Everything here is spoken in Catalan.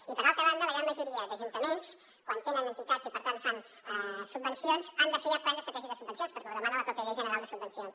i per altra banda la gran majoria d’ajuntaments quan tenen entitats i per tant fan subvencions han de fer ja plans estratègics de subvencions perquè ho demana la pròpia llei general de subvencions